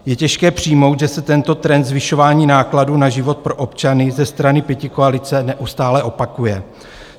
Je těžké přijmout, že se tento trend zvyšování nákladů na život pro občany ze strany pětikoalice neustále opakuje.